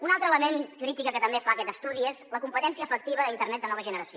un altre element crític que també fa aquest estudi és la competència efectiva d’internet de nova generació